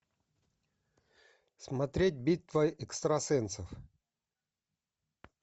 смотреть битва экстрасенсов